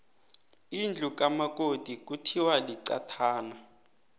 indlu kamakoti kuthiwa liqathana